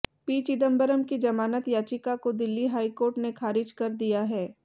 P Chidambaram की जमानत याचिका को दिल्ली हाई कोर्ट ने खारिज कर दिया है